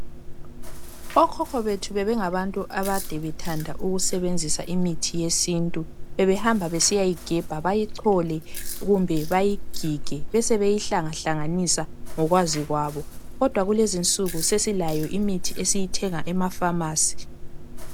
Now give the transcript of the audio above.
okhokho bethu bebengabantu ade bethanda ukusebenzisa imithi yesintu bebehamba besiyayigebha bayichole kumbe bayigige besebeyihlanga hlanganisa ngokwazi kwabo kodwa kulezinsuku sesilayo imithi esiyithenga ema phamarcy